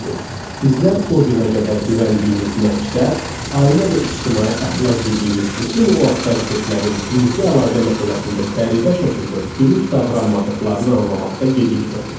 Bizlər o günə qədər güvəndiyimiz məktəb, ailə və ictimai əxlaq dediyimiz bütün o avtoritetlərin cinsi əlaqə məsələsində qəribə şəkildə dürüst davranmadıqlarını anlamaqda gecikmədik.